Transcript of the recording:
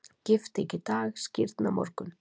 Gifting í dag, skírn á morgun.